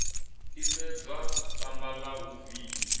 isedzwa samba la u viya